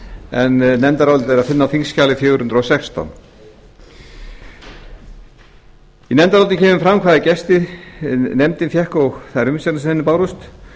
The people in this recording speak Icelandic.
en nefndarálitið er að finna á þingskjali fjögur hundruð og sextán í nefndarálitinu kemur fram hvaða gesti nefndin fékk og þær umsagnir sem henni bárust